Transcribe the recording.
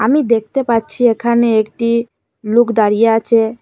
আমি দেখতে পাচ্ছি এখানে একটি লুক দাঁড়িয়ে আছে।